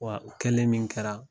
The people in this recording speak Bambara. Wa o kɛlen min kɛra